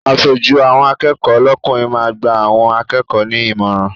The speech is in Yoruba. Aṣojú àwọn akẹ́kọ̀ọ́ lọ́kùnrin máa gba àwọn akẹ́kọ̀ọ́ ní ìmọ̀ràn.